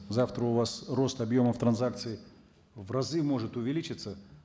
завтра у вас рост объемов транзакций в разы может увеличиться